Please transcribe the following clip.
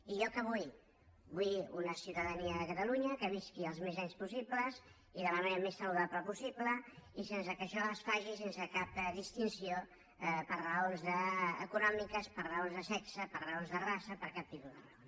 i jo què vull vull una ciutadania de catalunya que visqui el màxim d’anys possible i de la manera més saludable possible i que això es faci sense cap distinció per raons econòmiques per raons de sexe per raons de raça per cap tipus de raons